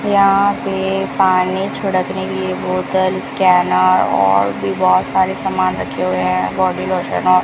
यहां पे पानी छिड़कने के लिए बोतल स्कैनर और भी बहुत सारे सामान रखे हुए हैं बॉडी लोशन और --